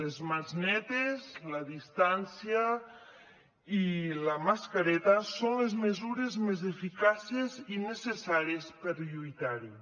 les mans netes la distància i la mascareta són les mesures més eficaces i necessàries per lluitar hi